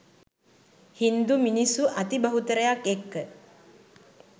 හින්දු මිනිස්සු අති බහුතරයක් එක්ක